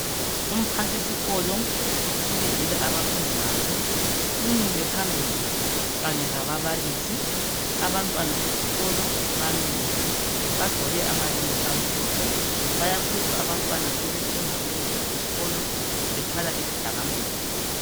Umphathisikolo ubizile abafundi bakhe umile phambili kanye lababalisi. Abantwana besikolo bamile bagqoke amayembe amhlophe. Bayakhuza abantwana sebesenza ukungezwa esikolo bethwala izidakamizwa